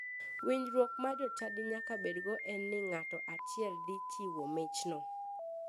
Winjruok ma jochadi nyaka bedgo en ni nga'to achiel dhi chiwo michno.